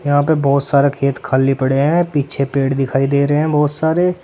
यहां पे बहोत सारे खेत खाली पड़े हैं पीछे पेड़ दिखाई दे रहे हैं बहोत सारे।